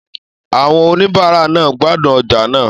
Àwọn oníbàárà náà ń gbádùn ọjà náà.